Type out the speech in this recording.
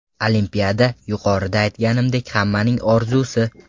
Olimpiada, yuqorida aytganimdek, hammaning orzusi.